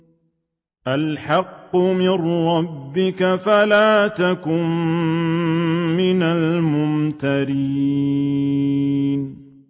الْحَقُّ مِن رَّبِّكَ فَلَا تَكُن مِّنَ الْمُمْتَرِينَ